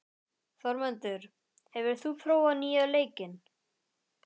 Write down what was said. Þórmundur, hefur þú prófað nýja leikinn?